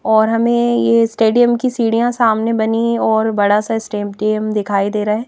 और हमें ये स्टेडियम की सीढ़ियां सामने बनी और बड़ा सा स्टेडियम दिखाई दे रहा है।